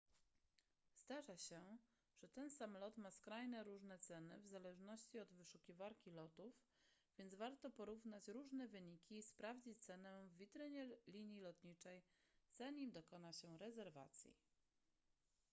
zdarza się że ten sam lot ma skrajnie różne ceny w zależności od wyszukiwarki lotów więc warto porównać różne wyniki i sprawdzić cenę w witrynie linii lotniczej zanim dokona się rezerwacji